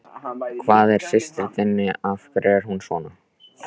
Hvað er að systur þinni, af hverju er hún svona?